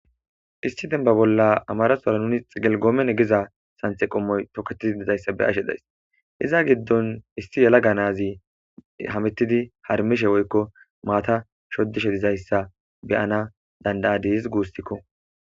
isti denba bolla amarasora nuni xigelgoomen egiza santhe qommoy toketidi dizayssa be ashe days iza giddon isti yela ga nazi hamittidi harmishe woykko maata shodishe dizayssa beyana danda7a diiz guustikko